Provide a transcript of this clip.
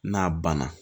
N'a banna